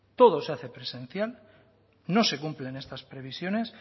todo se hace presencial no se cumplen estas previsiones